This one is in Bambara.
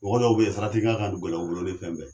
Mɔgɔ dɔw be yen sarati kan ka gɛlɛ u bolo ni fɛn bɛɛ ye.